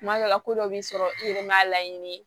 Tuma dɔw la ko dɔw b'i sɔrɔ i yɛrɛ ma laɲini ye